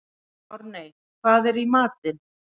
Árney, hvað er í matinn?